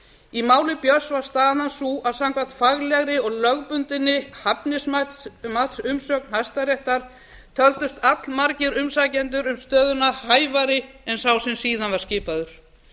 í máli björns var staðan sú að samkvæmt faglegri og lögbundinni hæfnismatsumsögn hæstaréttar töldust allmargir umsækjendur um stöðuna hæfari en sá sem síðan var skipaður